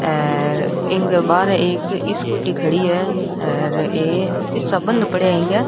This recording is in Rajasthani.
अर इंग के बहार एक स्कूटी खड़ी है और ए शीशा बंद पड़ा है इंक।